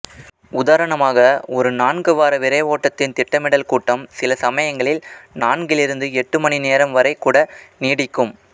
உதாரணமாக ஒரு நான்கு வார விரைவோட்டத்தின் திட்டமிடல் கூட்டம் சில சமயங்களில் நான்கிலிருந்து எட்டு மணிநேரம் வரை கூட நீடிக்கும்